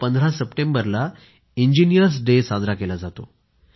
15 सप्टेंबरला engineers day साजरा केला जातो